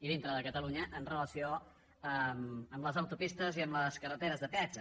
i dintre de catalunya en relació amb les autopistes i amb les carreteres de peatge